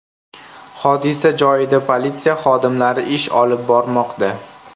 Hodisa joyida politsiya xodimlari ish olib bormoqda.